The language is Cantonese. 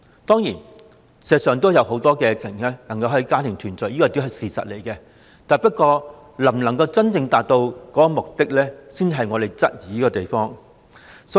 當然，事實上也有很多家庭能夠團聚，但審批的安排能否真正達到目的，我們則有所質疑。